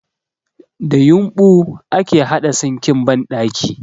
Da yumɓu ake haɗa sinkin banɗaki